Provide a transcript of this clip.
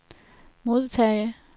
modtage